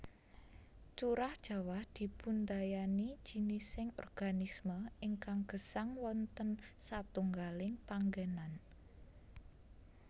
Curah jawah dipundayani jinising organisme ingkang gesang wonten satunggaling panggènan